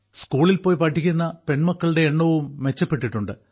സ്കൂളിൽ പോയി പഠിക്കുന്ന പെൺമക്കളുടെ എണ്ണവും മെച്ചപ്പെട്ടിട്ടുണ്ട്